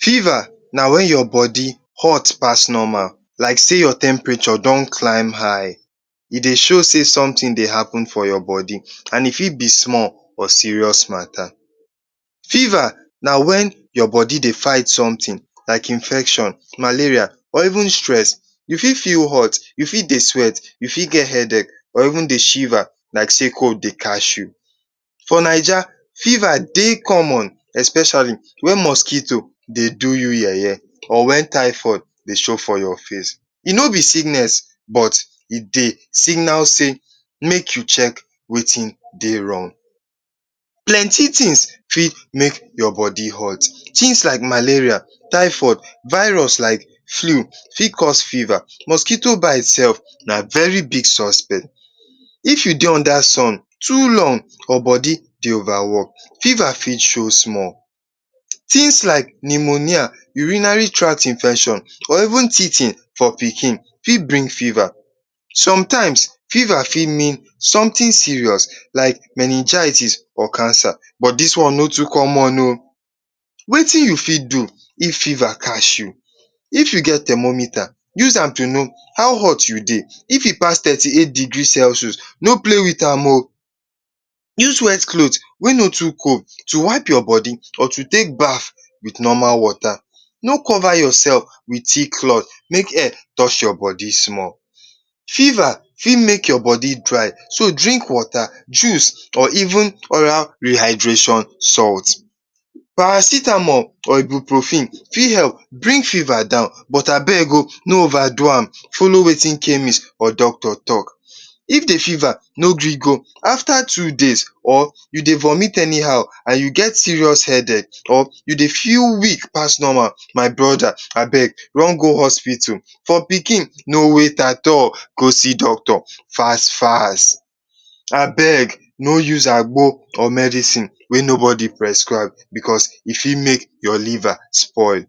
Feva na wen your bodi hot pass normal like sey your temperature don climb high. E dey show sey somtin dey happen for your bodi. And e fit be small or serious mata. Feva na wen your bodi dey fight somtin, like infection, malaria or even stress. You fit feel hot, you fit dey sweat, you fit get headache or even dey shiva like sey cold dey catch you. For Naija feva dey common especiali wenmosquito dey do you ye-ye or wen thyphoid dey show for your face. E no be sickness but e dey signa sey make you chek wetin dey rong. Plenty tins fit make your bodi hot, tins like malaria, thyphoid, virus fit make your bodi hot. Flew fit cause feva, mosquito bite sef na very big suspect. If you dey under sun too long and bodi dey ova work, feva fit show small. Tins like pneumonia, urinary tract infection or even teething for pikin fit bring feva. Sometimes feva fit means somtin serious like meningitis, cancer but dis one no too common o. Wetin you fit do if feva catch you? If you get thermomethre, use am to no how hot you dey, if e pass thirty eight degree celsus, no play with am o. use wet clot wey no too cool to wipe your bodi, to take baf wit normal wota, no cova yourself wit thick clot, make air touch your bodi small. Feva fit make your bodi dry, so, drink wota, juice or even oral rehydration salt. Paracetamol or ebuprufen fit help bring feva down.but abeg o, no ova do am, follow wetin chemis or doctor talk. If the feva no gree go or afta two days, or you dey vomit any how and you get serious headache, or you dey feel weak pass normal, my broda abeg run go hospital. For pikin no wait at all go see doctor fas-fas. Abeg, no use agbo or medicine wey nobody prescribe, because e fit make your liver spoil.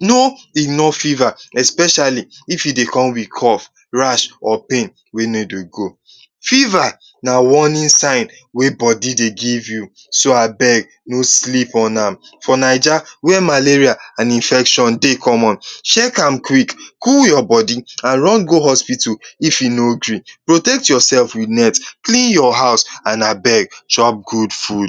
Know enough feva especiali if e dey come wit cough, rash, or pain wey no dey go. Feva na warnin sign wey bodi dey give you, so abeg no sleep on am. For Naija where infection dey common, chek am quick, cool your bodi and run go hospital if e no gree. Protect yourself wit net, clean your house and abeg chop gud fud.